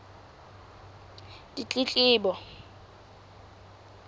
ditletlebo